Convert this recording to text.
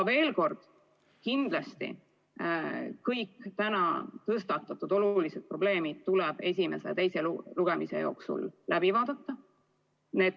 Veel kord: kindlasti kõik täna tõstatatud olulised probleemid tuleb esimese ja teise lugemise jooksul läbi arutada.